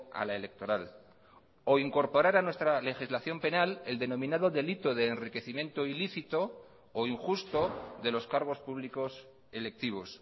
a la electoral o incorporar a nuestra legislación penal el denominado delito de enriquecimiento ilícito o injusto de los cargos públicos electivos